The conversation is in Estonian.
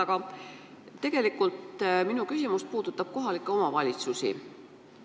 Aga tegelikult puudutab minu küsimus kohalikke omavalitsusi.